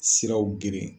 Siraw geren